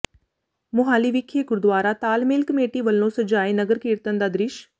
ਮੁਹਾਲੀ ਵਿਖੇ ਗੁਰਦੁਆਰਾ ਤਾਲਮੇਲ ਕਮੇਟੀ ਵਲੋਂ ਸਜਾਏ ਨਗਰ ਕੀਰਤਨ ਦਾ ਦ੍ਰਿਸ਼